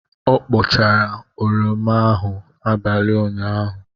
Ọ kpụchara oroma abalị ụnyaahụ.